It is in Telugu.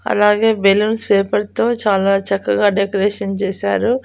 అలాగే బెలూన్స్ పేపర్ తో చాలా చక్కగా డెకరేషన్ చేశారు.